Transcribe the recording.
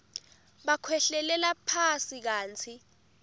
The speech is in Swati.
bakhwehlelela phasi kantsi